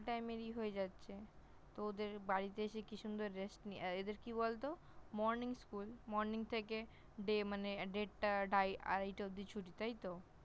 School Time এরই হয়ে যাচ্ছে । তো ওদের বাড়িতে এসে কি সুন্দর Rest এদের কি বলত Morning School, Morning থেকে Day মানে দেড়টা আড়াই টে অবধি ছুটি তাই তো?